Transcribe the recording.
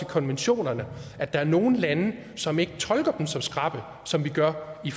konventionerne at der er nogle lande som ikke tolker dem så skrapt som vi gør i